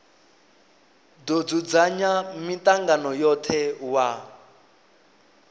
do dzudzanya mitangano yothe wa